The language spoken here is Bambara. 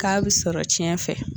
K'a bɛ sɔrɔ tiɲɛ fɛ